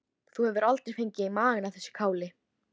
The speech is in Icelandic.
Þú hefur aldrei fengið í magann af þessu káli?